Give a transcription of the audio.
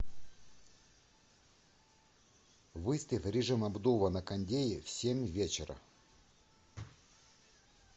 выставь режима обдува на кондее в семь вечера